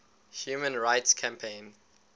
human rights campaign